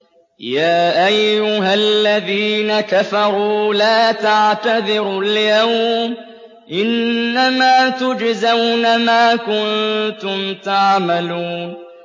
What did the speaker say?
يَا أَيُّهَا الَّذِينَ كَفَرُوا لَا تَعْتَذِرُوا الْيَوْمَ ۖ إِنَّمَا تُجْزَوْنَ مَا كُنتُمْ تَعْمَلُونَ